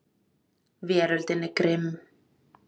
Veröldin er grimm.